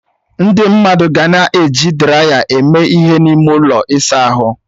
Ndị mmadụ ga na-eji draya eme ihe n'ime ụlọ ịsa ahụ.